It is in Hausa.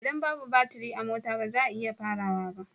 Idan babu baturi a mota ba zai iya farawa ba